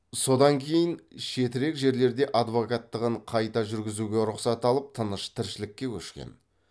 содан кейін шетірек жерлерде адвокаттығын қайта жүргізуге рұқсат алып тыныш тіршілікке көшкен